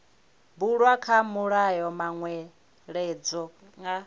bulwa kha mulayo manweledzo nga